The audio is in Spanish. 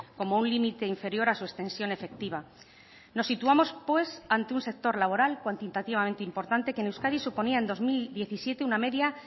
como un límite inferior a su extensión efectiva nos situamos pues ante un sector laboral cuantitativamente importante que en euskadi suponía en dos mil diecisiete una media